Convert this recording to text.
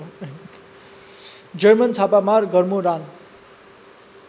German छापामार गरमोरान